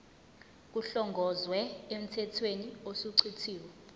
kuhlongozwe emthethweni osuchithiwe